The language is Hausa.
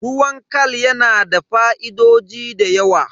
Ruwan khal yana da fa'idoji da yawa.